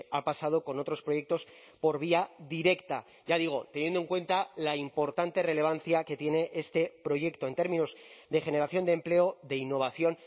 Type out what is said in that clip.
ha pasado con otros proyectos por vía directa ya digo teniendo en cuenta la importante relevancia que tiene este proyecto en términos de generación de empleo de innovación